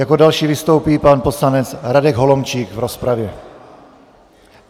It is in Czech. Jako další vystoupí pan poslanec Radek Holomčík v rozpravě.